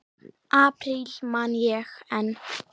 apríl man ég enn.